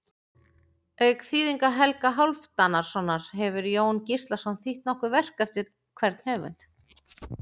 Auk þýðinga Helga Hálfdanarsonar hefur Jón Gíslason þýtt nokkur verk eftir hvern höfund.